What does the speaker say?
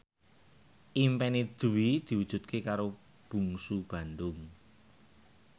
impine Dwi diwujudke karo Bungsu Bandung